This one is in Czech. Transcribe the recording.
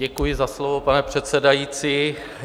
Děkuji za slovo, pane předsedající.